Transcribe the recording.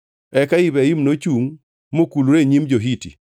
Eka Ibrahim nochungʼ mokulore e nyim jo-Hiti.